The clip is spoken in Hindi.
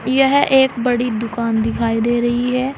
यह एक बड़ी दुकान दिखाई दे रही है।